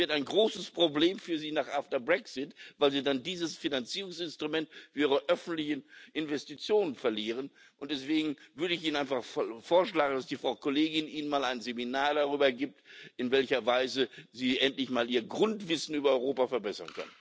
Das wird ein großes Problem für Sie nach dem Brexit, weil Sie dann dieses Finanzierungsinstrument für Ihre öffentlichen Investitionen verlieren. Und deswegen würde ich Ihnen einfach vorschlagen, dass die Frau Kollegin Ihnen mal ein Seminar darüber gibt, in welcher Weise Sie endlich mal Ihr Grundwissen über Europa verbessern können.